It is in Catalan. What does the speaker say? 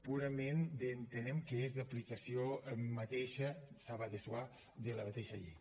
purament que entenem que és d’aplicació mateixa ça va de soi de la mateixa llei